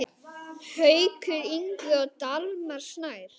Haukur Ingvi og Dalmar Snær.